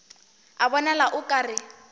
a bonala o ka re